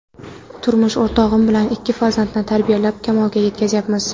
Turmush o‘rtog‘im bilan ikki farzandni tarbiyalab, kamolga yetkazyapmiz.